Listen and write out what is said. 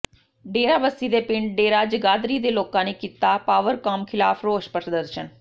ਡੇਰਾਬੱਸੀ ਦੇ ਪਿੰਡ ਡੇਰਾ ਜਗਾਧਰੀ ਦੇ ਲੋਕਾਂ ਨੇ ਕੀਤਾ ਪਾਵਰਕਾਮ ਖ਼ਿਲਾਫ਼ ਰੋਸ ਪ੍ਰਦਰਸ਼ਨ